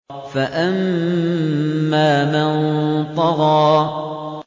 فَأَمَّا مَن طَغَىٰ